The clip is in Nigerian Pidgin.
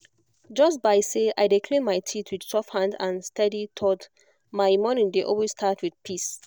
just by say i dey clean my teeth with soft hand and steady thought my morning dey always start wit peace